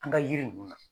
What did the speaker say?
An ka yiri ninnu na